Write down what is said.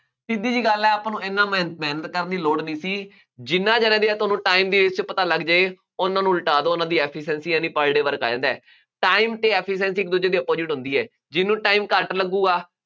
ਸਿੱਧੀ ਜਿਹੀ ਗੱਲ ਹੈ, ਆਪਾਂ ਨੂੰ ਇਹਨਾ ਮਿਹਨ ਮਿਹਨਤ ਕਰਨ ਦੀ ਲੋੜ ਨਹੀਂ ਸੀ, ਜਿੰਨਾ ਜਣਿਆਂ ਦੀਆ ਤੁਹਾਨੂੰ time ਦੀ ratio ਪਤਾ ਲੱਗ ਜਾਏ, ਉਹਨਾ ਨੂੰ ਉਲਟਾ ਦਿਉ, ਉਹਨਾ ਦੀ efficiency ਹੈ ਨਹੀਂ per day work ਆ ਜਾਂਦਾ ਹੈ, time ਅਤੇ efficiency ਇੱਕ ਦੂਜੇ ਦੇ opposite ਹੁੰਦੀ ਹੈ, ਜਿਹਨੂੰ time ਘੱਟ ਲੱਗੂਗਾ।